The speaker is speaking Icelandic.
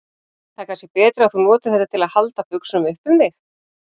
Það er kannski betra að þú notir þetta til að halda buxunum upp um þig.